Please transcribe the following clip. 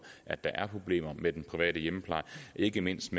at der er problemer med den private hjemmepleje ikke mindst